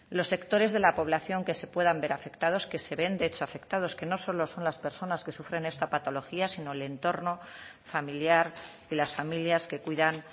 los sectores de la población que se puedan ver afectados que se ven de hecho afectados que no solo son las personas que sufren esta patología sino el entorno familiar y las familias que cuidan